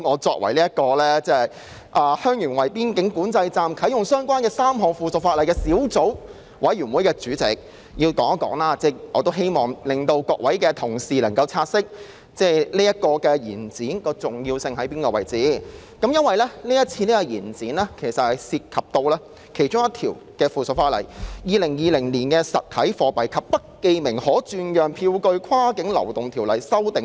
作為與香園圍邊境管制站啟用相關的3項附屬法例的小組委員會主席，我讀出秘書處的發言稿後，要繼續發言，讓各位同事察悉延展相關附屬法例審議期限的重要性，因為其中涉及《2020年實體貨幣及不記名可轉讓票據跨境流動條例公告》。